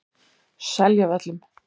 Seljavöllum